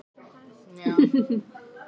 Þið voruð ekki lengi, sagði Vilhelm.